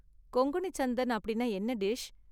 கொங்கணி சந்தன் அப்படின்னா என்ன டிஷ்?